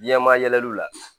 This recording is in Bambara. Ɲɛma yɛlɛliw la